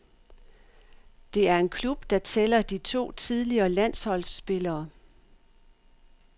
Det er en klub, der tæller de to tidligere landsholdsspillere.